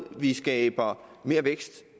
vi skaber mere vækst